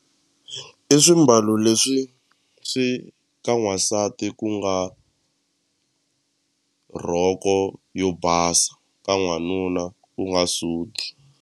I swimbalo leswi swi ka n'wansati ku nga rhoko yo basa ka n'wanuna ku nga suti.